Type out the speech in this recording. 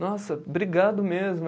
Nossa, obrigado mesmo.